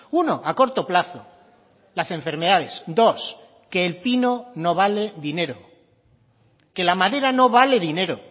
uno a corto plazo las enfermedades dos que el pino no vale dinero que la madera no vale dinero